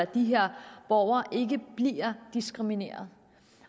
de her borgere ikke bliver diskrimineret